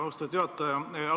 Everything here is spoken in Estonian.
Hea austatud juhataja!